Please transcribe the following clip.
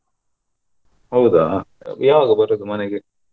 ಹೌದಾ ಯಾವಗ ಬರುದು ಮನೆಗೆ.